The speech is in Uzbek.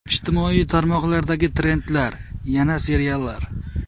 Ijtimoiy tarmoqlardagi trendlar: Yana seriallar.